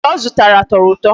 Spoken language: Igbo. Abachi ọ zụtara tọrọ ụtọ.